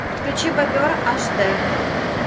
подключи бобер аш дэ